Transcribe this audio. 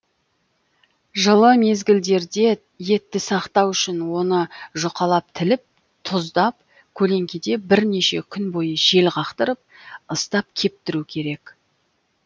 жылы мезгілдерде етті сақтау үшін оны жұқалап тіліп тұздап көлеңкеде бірнеше күн бойы жел қақтырып ыстап кептіру керек